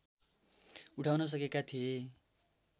उठाउन सकेका थिए